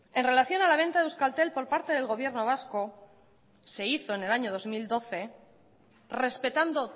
en relación a la venta de euskaltel por parte del gobierno vasco se hizo en el año dos mil doce respetando